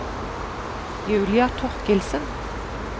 Julia Thorkildsen